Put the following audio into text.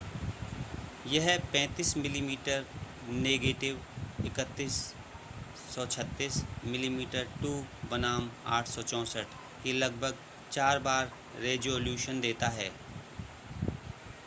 यह 35 मिमी नेगेटिव 3136 मिमी2 बनाम 864 के लगभग चार बार रेज़ोल्यूशन देता है।